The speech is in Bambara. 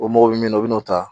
O mɔgɔ bɛ min na u bɛna n'o ta